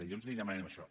llavors li demanem això